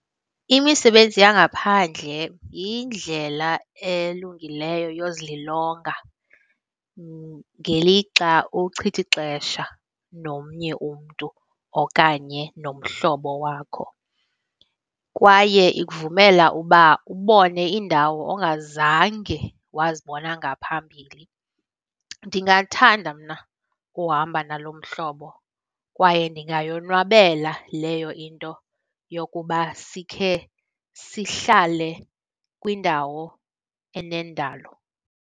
Imisebenzi yangaphandle yindlela elungileyo yozililonga ngelixa uchitha ixesha nomnye umntu okanye nomhlobo wakho, kwaye ikuvumela uba ubone iindawo ongazange wazibona ngaphambili. Ndingathanda mna ukuhamba nalo mhlobo kwaye ndingayonwabele leyo into yokuba sikhe sihlale kwindawo enendalo.